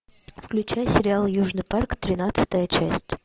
включай сериал южный парк тринадцатая часть